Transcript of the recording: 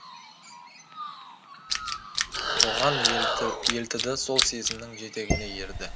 соған елтіді сол сезімінің жетегіне ерді